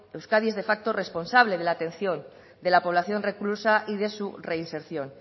euskadi es de facto responsable de la atención de la población reclusa y de su reinserción